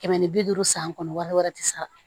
Kɛmɛ ni bi duuru san kɔnɔ wari wɛrɛ tɛ sa